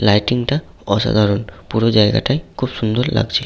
Lighting -টা অসাধারণ পুরো জায়গাটাই খুব সুন্দর লাগছে ।